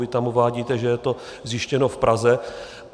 Vy tam uvádíte, že je to zjištěno v Praze.